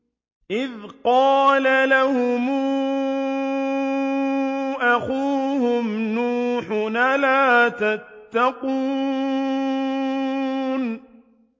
إِذْ قَالَ لَهُمْ أَخُوهُمْ نُوحٌ أَلَا تَتَّقُونَ